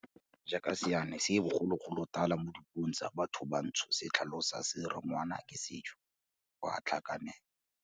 Jaaka seane sa bogologolotala mo dipuong tsa bathobantsho se tlhalosa se re ngwana ke sejo, o a tlhakanelwa.